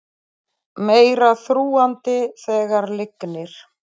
Meira þrúgandi þegar lygnir